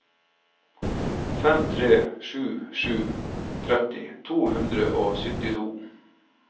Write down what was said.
fem tre sju sju tretti to hundre og syttito